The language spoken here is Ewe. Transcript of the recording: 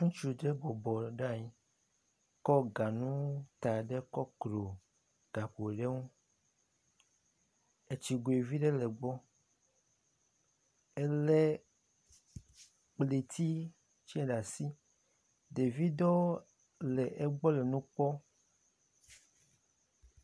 Ŋutsu ɖe bɔbɔ ɖe anyi kɔ ganu da ɖe kɔplo gakpo ɖe ŋu. Etsigoe vi ɖe le gbɔ. Elé ŋlitsitsɛ ɖe asi, Ɖevi ɖewo le egbɔ le kpɔ.